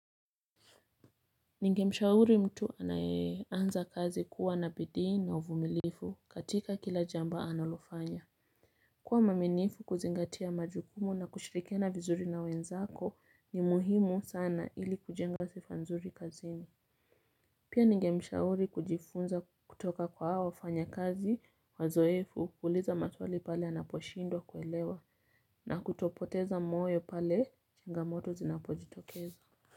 Ningemshauri mtu anayeanza kazi kuwa na bidii na uvumilivu katika kila jambo analofanya. Kuwa mwaminifu, kuzingatia majukumu na kushirikiana vizuri na wenzako ni muhimu sana ili kujenga sifa nzuri kazini. Pia ningemshauri kujifunza kutoka kwa wafanyakazi wazoefu, kuuliza maswali pale anaposhindwa kuelewa, na kutopoteza moyo pale changamoto zinapojitokeza.